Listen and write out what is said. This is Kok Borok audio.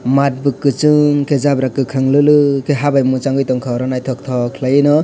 math bo kwchwng khe jabra kwkhwrang lwlwk khe ha bai mwchangui tongkha oro naithotok khwlai no.